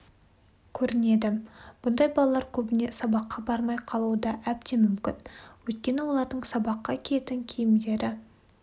көрінеді бұндай балалар көбіне сабаққа бармай қалуы да әбден мүмкін өйткені олардың сабаққа киетін киімдері